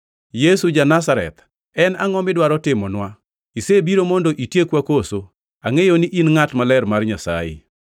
“Yesu ja-Nazareth, en angʼo midwaro timonwa? Isebiro mondo itiekwa koso? Angʼeyo ni in Ngʼat Maler Mar Nyasaye!”